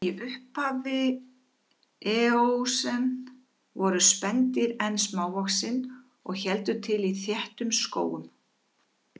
Í upphafi eósen voru spendýr enn smávaxin og héldu til í þéttum skógum.